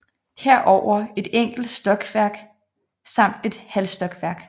Herover et enkelt stokværk samt et halvstokværk